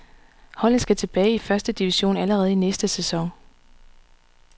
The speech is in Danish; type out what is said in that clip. Holdet skal tilbage i første division allerede i næste sæson.